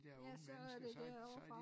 Ja så er det derovre fra